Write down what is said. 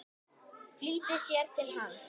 Flýtir sér til hans.